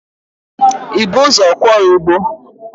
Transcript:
Ị bu ụzọ kwọọ igbo?